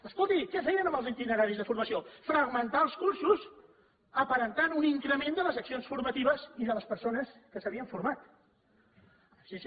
escolti què feien amb els itineraris de formació fragmentar els cursos aparentant un increment de les accions formatives i de les persones que s’havien format sí sí